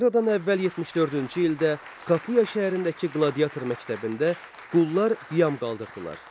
Eradan əvvəl 74-cü ildə Kapuya şəhərindəki qladiator məktəbində qullar üsyan qaldırdılar.